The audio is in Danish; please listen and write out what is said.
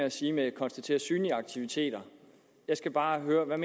at sige konstatere synlige aktiviteter jeg skal bare høre hvad